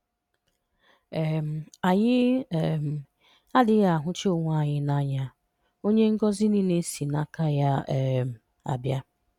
um Anyị um adịghị ahụcha Onyenwe anyị n'anya, Onye ngọzi niile si n'aka ya um abịa